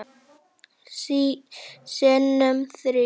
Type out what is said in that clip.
Sinnum þrír.